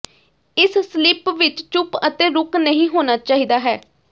ਇਸ ਸਲੀਪ ਵਿੱਚ ਚੁੱਪ ਅਤੇ ਰੁਕ ਨਹੀ ਹੋਣਾ ਚਾਹੀਦਾ ਹੈ